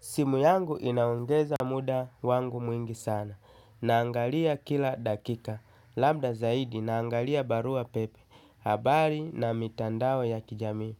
Simu yangu inaongeza muda wangu mwingi sana. Naangalia kila dakika labda zaidi naangalia barua pepe. Habari na mitandao ya kijamii.